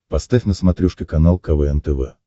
поставь на смотрешке канал квн тв